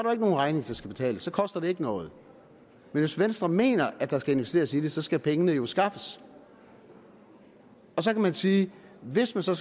nogen regning der skal betales så koster det ikke noget men hvis venstre mener at der skal investeres i det så skal pengene jo skaffes og så kan man sige at hvis man så